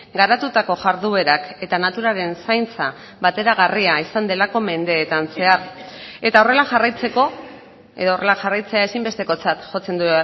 garatutako jarduerak eta naturaren zaintza bateragarria izan delako mendeetan zehar eta horrela jarraitzeko edo horrela jarraitzea ezinbestekotzat jotzen du